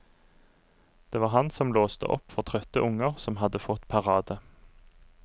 Det var han som låste opp for trøtte unger som hadde fått parade.